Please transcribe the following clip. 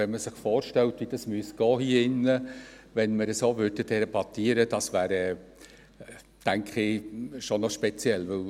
Wenn man sich vorstellt, wie es hier drin ablaufen müsste, wenn wir so debattierten – ich denke, das wäre schon speziell.